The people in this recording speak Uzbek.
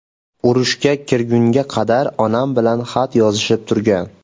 Urushga kirgunga qadar onam bilan xat yozishib turgan.